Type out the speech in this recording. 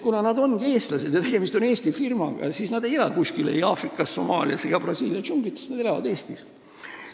Nad on eestlased ja tegemist on Eesti firmaga, st nad ei ela kuskil Aafrikas, Somaalias ega Brasiilia džunglites, vaid nad elavad Eestis.